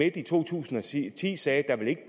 i to tusind og ti sagde at der ikke